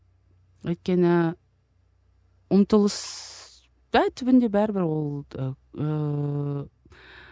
өйткені ұмтылыс па түбінде бәрібір ол ыыы